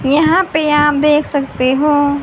यहां पे आप देख सकते हो।